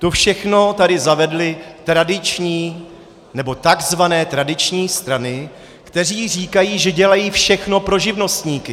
To všechno tady zavedly tradiční, nebo takzvané tradiční strany, které říkají, že dělají všechno pro živnostníky.